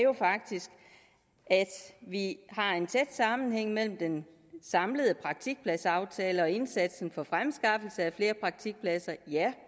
at vi har en tæt sammenhæng mellem den samlede praktikpladsaftale og indsatsen for fremskaffelse af flere praktikpladser